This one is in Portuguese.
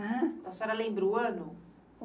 ãn? A senhora lembra o ano?